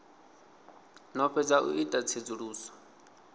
no fhedza u ita tsedzuluso